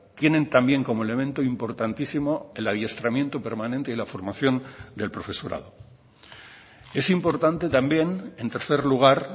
tienen también como elemento importantísimo el adiestramiento permanente y la formación del profesorado es importante también en tercer lugar